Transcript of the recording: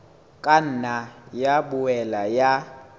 ka nna ya boela ya